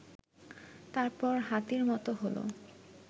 তারপর হাতির মতো হলো